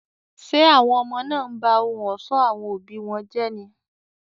Ṣé àwọn ọmọ náà ń ba ohun ọ̀ṣọ́ àwọn òbí wọn jẹ́ ni?